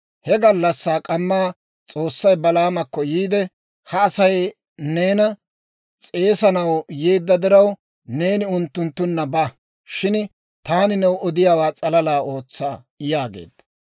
He gallassaa k'amma S'oossay Balaamakko yiide, «Ha Asay neena s'eesanaw yeedda diraw, neeni unttunttunna ba. Shin taani new odiyaawaa s'alalaa ootsa» yaageedda.